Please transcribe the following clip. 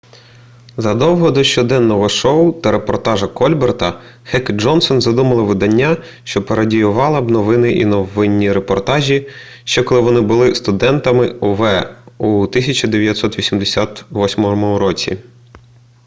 задовго до щоденного шоу та репортажа кольбера хек і джонсон задумали видання що пародіювало б новини і новинні репортажі ще коли вони були студентами ув у 1988 році